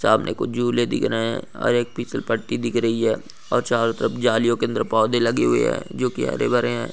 सामने कुछ झूले दिख रहे है और एक फीसल पट्टी दिख रही है और चारो तरफ जालिओ के अंदर पौधे लगे हुए है जो कि हरे भरे है।